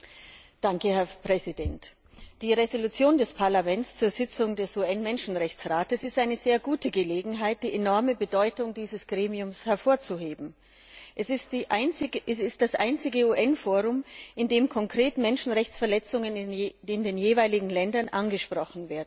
Herr Präsident! Die Entschließung des Parlaments zur Sitzung des UN Menschenrechtsrats ist eine sehr gute Gelegenheit, die enorme Bedeutung dieses Gremiums hervorzuheben. Es ist das einzige UN Forum, in dem konkret Menschenrechtsverletzungen in den jeweiligen Ländern angesprochen werden können.